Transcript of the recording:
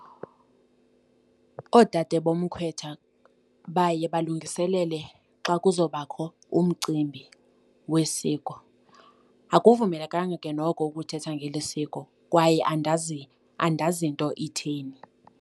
Oodade bomkhwetha baye balungiselele xa kuzawubakho umcimbi wesiko. Akuvumelekanga ke noko ukuthetha ngeli isiko kwaye andazi nto itheni.